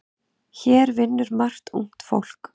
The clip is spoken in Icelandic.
Hér vinnur margt ungt fólk.